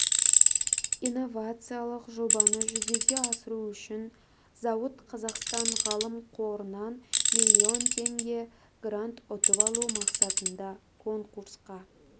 инновациялық жобаны жүзеге асыру үшін зауыт қазақстан ғылым қорынан миллион теңге грант ұтып алу мақсатында конкурсқа